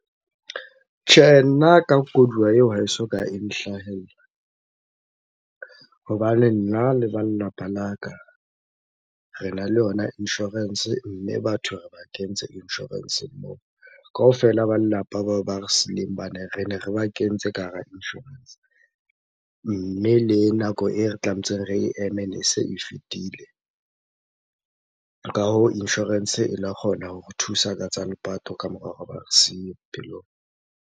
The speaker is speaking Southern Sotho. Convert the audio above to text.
Tjhe, nna ka koduwa eo ha e soka e nhlahella. Hobane nna le ba lelapa la ka, rena le yona insurance mme batho re ba kentse insurance-eng moo. Kaofela ba lelapa bao ba re sileng rene re ba kentse ka hara insurance. Mme le nako e re tlametseng re e eme, ne se e fetile. Ka hoo, insurance e la kgona ho re thusa ka tsa lepato kamora hore ba re siye bophelong.